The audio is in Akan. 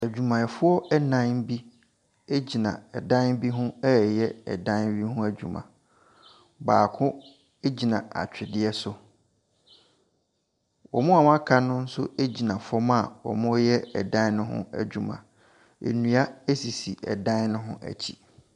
Adwumayɛfoɔ nnan bi gyina dan bi ho reyɛ ɛdan no ho adwuma. Baako gyina atweredeɛ so. Wɔn a wɔaka no nso gyina fam a wɔreyɛ dan no ho adwuma. Nnua sisi dan no ho akyire.